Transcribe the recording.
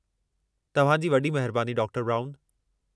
तव्हां जी वॾी महिरबानी, डॉ. ब्राउन।